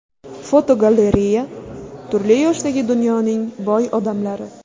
Fotogalereya: Turli yoshdagi dunyoning boy odamlari.